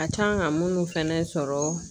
A kan ka munnu fɛnɛ sɔrɔ